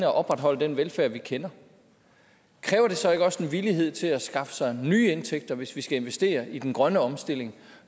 opretholde den velfærd vi kender kræver det så ikke også en villighed til at skaffe sig nye indtægter hvis vi skal investere i den grønne omstilling